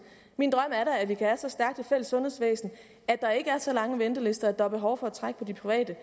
min drøm er da at vi kan have så stærkt et fælles sundhedsvæsen at der ikke er så lange ventelister at der er behov for at trække på de private